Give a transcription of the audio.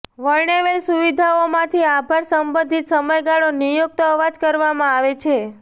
વર્ણવેલ સુવિધાઓમાંથી આભાર સંબંધિત સમયગાળો નિયુક્ત અવાજ કરવામાં આવે છે